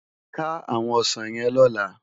Ká áwòn òsán yèn lòlá